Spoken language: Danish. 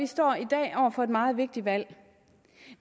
står i dag over for et meget vigtigt valg